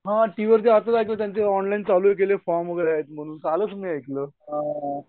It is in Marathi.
हां टीव्हीवर दाखवत होते ते ऑनलाईन फॉर्म चालू केले भरतीचे. कालच मी ऐकलं.